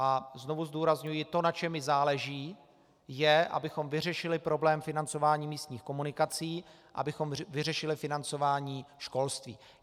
A znovu zdůrazňuji, to, na čem mi záleží, je, abychom vyřešili problém financování místních komunikací, abychom vyřešili financování školství.